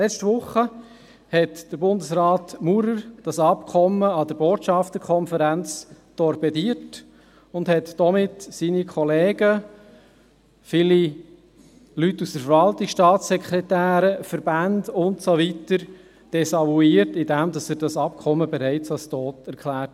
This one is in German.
Letzte Woche torpedierte Bundesrat Maurer dieses Abkommen an der Botschafterkonferenz und desavouierte damit seine Kollegen, viele Leute aus der Verwaltung, Staatssekretäre, Verbände und so weiter, indem er dieses Abkommen bereits für tot erklärte.